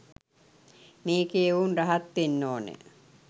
මේකේ එවුන් රහත් වෙන්න ඕන.